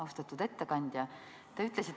Austatud ettekandja!